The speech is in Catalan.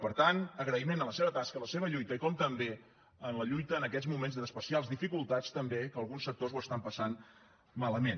per tant agraïment a la seva tasca i la seva lluita i també a la lluita en aquests moments d’especials dificultats també que alguns sectors ho estan passant malament